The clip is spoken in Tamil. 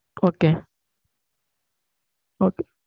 okay okay